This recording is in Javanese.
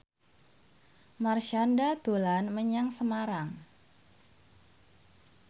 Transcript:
Marshanda dolan menyang Semarang